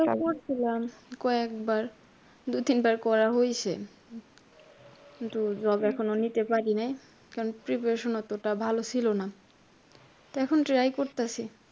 করছিলাম কয়েকবার। দুইতিনবার করা হইসে। কিন্তু job এখনও নিতে পারিনাই। কারণ preparation অতটা ভালো ছিল না। তো এখন try করতাসি।